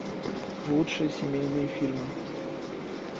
лучшие семейные фильмы